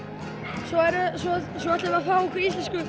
svo ætlum við að fá okkur íslensku